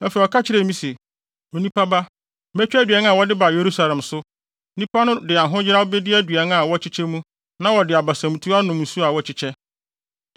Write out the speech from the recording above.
Afei ɔka kyerɛɛ me se, “Onipa ba, metwa aduan a wɔde ba Yerusalem so. Nnipa no de ahoyeraw bedi aduan a wɔkyekyɛ mu na wɔde abasamtu anom nsu a wɔkyekyɛ,